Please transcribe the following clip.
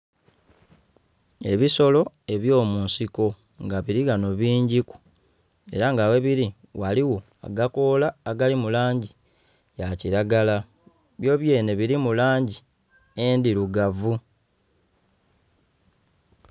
Ebisolo ebyomunsiko nga bili ghano bingiku era nga ghebili ghaliwo agakoola agali mulangi ya kilagara byo byenhe bilimu langi endhirugavu